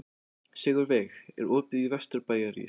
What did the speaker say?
Sigurveig, er opið í Vesturbæjarís?